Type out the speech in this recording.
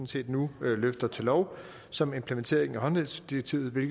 set nu løfter til lov som implementering af håndhævelsesdirektivet